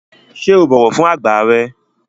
Ṣé o bọ̀wọ̀ fún àgbà rẹ?